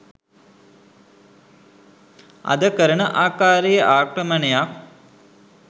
අද කරන ආකාරයේ ආක්‍රමණයක්